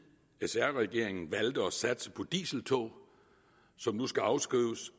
sr regeringen valgte at satse på dieseltog som nu skal afskrives